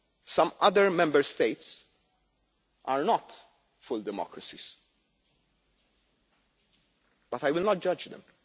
Some other Member States are not full democracies, but I will not judge